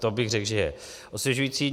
To bych řekl, že je osvěžující.